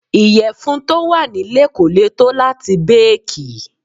Ìyẹ̀fun tó wà nílé kò lè tó láti béèkì.